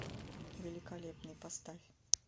великолепный поставь